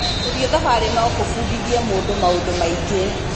Gũthiĩ thabarĩ no kũbundithie mũndũ maũndũ maingĩ.